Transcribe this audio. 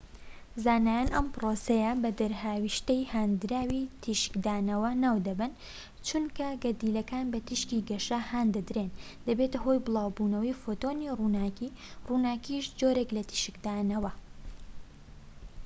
زانایان ئەم پرۆسەیە بە دەرهاوێشتەی هاندراوی تیشکدانەوە ناو دەبەن چونکە گەردیلەکان بە تیشکی گەش هان دەدرێن دەبێتە هۆی بڵاوبوونەوەی فۆتۆنی ڕووناکی ڕووناکیش جۆرێک لە تیشکدانەوە